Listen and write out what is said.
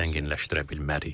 Biz zənginləşdirə bilmərik.